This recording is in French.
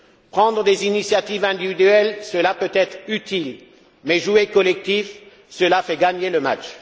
Prendre des initiatives individuelles, cela peut être utile, mais jouer collectif, cela fait gagner le match!